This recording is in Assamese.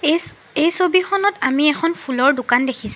এইচ এই ছবিখনত আমি এখন ফুলৰ দোকান দেখিছোঁ।